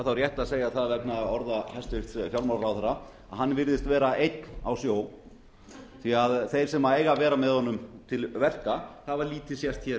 þá rétt að segja það vegna orða hæstvirts fjármálaráðherra að hann virðist vera einn á sjó því að þeir sem eiga að vera með honum til verka hafa lítið sést